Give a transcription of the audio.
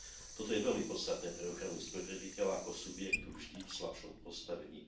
Toto je veľmi podstatné pre ochranu spotrebiteľa ako subjektu vždy v slabšom postavení.